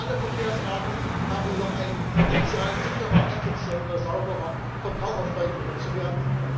Alle Verkehrsarten haben noch ein Potenzial, sicherer, effizienter, sauberer, verbraucherfreundlicher zu werden.